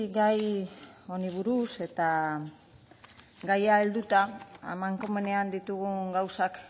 gai honi buruz eta gaia helduta amankomunean ditugun gauzak